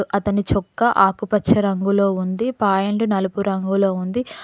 అతని చొక్కా ఆకుపచ్చ రంగులో ఉంది ప్యాంట్ నలుపు రంగులో ఉంది.